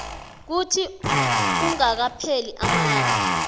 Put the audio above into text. kuthi kungakapheli amalanga